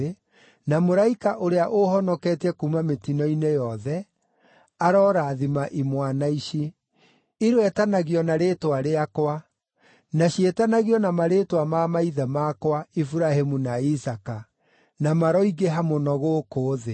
na Mũraika ũrĩa ũũhonoketie kuuma mĩtino-inĩ yothe, arorathima imwana ici. Iroetanagio na rĩĩtwa rĩakwa, na ciĩtanagio na marĩĩtwa ma maithe makwa, Iburahĩmu na Isaaka, na maroingĩha mũno gũkũ thĩ.”